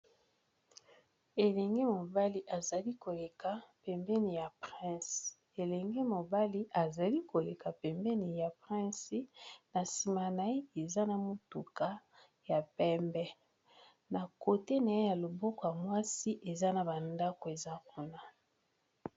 Elenge mobali azali koleka pembeni ya prince elenge mobali azali koleka pembeni ya prince na nsima naye eza na motuka ya pembe na kote naye ya loboko mwasi eza na ba ndako eza kuna.